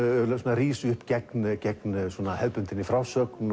rís upp gegn gegn hefðbundinni frásögn